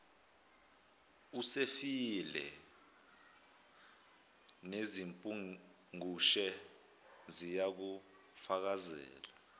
usefile nezimpungushe ziyakufakazela